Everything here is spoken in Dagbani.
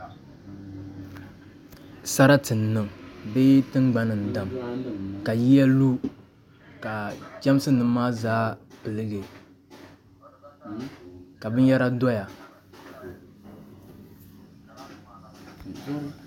Sarati n niŋ bee tingbani n dam ka yiya lu ka chɛmsi nim maa zaa piligi ka binyɛra doya